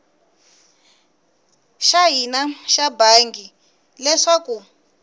xa hina xa bangi leswaku